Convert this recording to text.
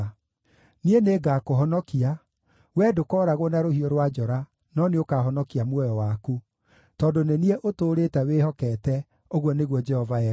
Niĩ nĩngakũhonokia; wee ndũkooragwo na rũhiũ rwa njora no nĩũkahonokia muoyo waku, tondũ nĩ niĩ ũtũũrĩte wĩhokete, ũguo nĩguo Jehova ekuuga.’ ”